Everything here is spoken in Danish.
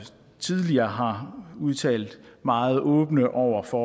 tidligere har udtalt meget åbne over for